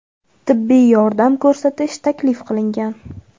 tibbiy yordam ko‘rsatish taklif qilingan.